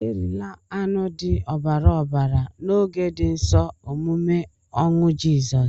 Erila anụ dị ọbara ọbara na oge di nsọ omume ọnwụ jisọs!!